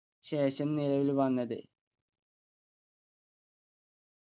ശേഷം നിലവിൽ വന്നത്